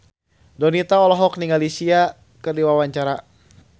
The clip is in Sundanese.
Donita olohok ningali Sia keur diwawancara